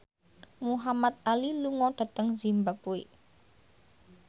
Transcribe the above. Muhamad Ali lunga dhateng zimbabwe